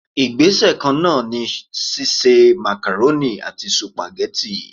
Igbese kan náà ni sise macaroni àti supageti.